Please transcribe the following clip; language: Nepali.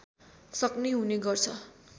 सक्ने हुने गर्छ